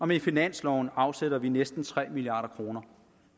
med finansloven afsætter vi næsten tre milliard kroner